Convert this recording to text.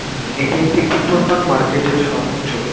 হুম এটি একটি উত্তর পান মার্কেট -এর সামনের ছবি ।